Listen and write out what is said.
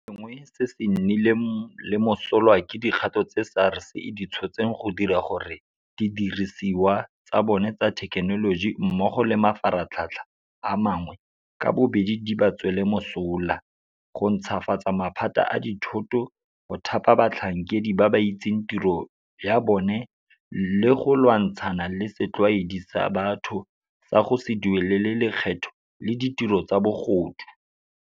Se sengwe se se nnileng le mosola ke dikgato tse SARS e di tshotseng go dira gore didirisiwa tsa bona tsa thekenoloji mmogo le mafaratlhatlha a mangwe ka bobedi di ba tswele mosola, go ntšhafatsa maphata a dithoto, go thapa batlhankedi ba ba itseng tiro ya bona le go lwantshana le setlwaedi sa batho sa go se duelele lekgetho le ditiro tsa bogodu.